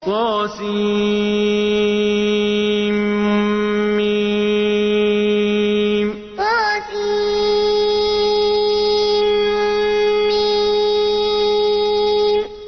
طسم طسم